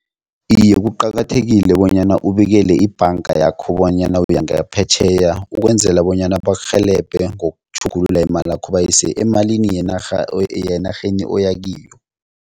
Iye, kuqakathekile bonyana ubikele ibhanga yakho bonyana uyangaphetjheya, ukwenzela bonyana bakurhelebhe ngokutjhugulula imalakho bayise emalini yenarha yenarheni oyakiyo.